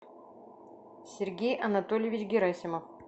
сергей анатольевич герасимов